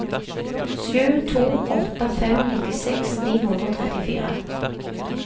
sju to åtte fem nittiseks ni hundre og trettifire